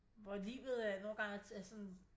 Hvor livet øh nogle gange er sådan